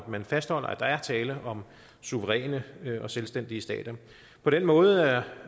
man fastholder at der er tale om suveræne og selvstændige stater på den måde er